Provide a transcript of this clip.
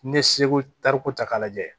N'i ye seko tariku ta k'a lajɛ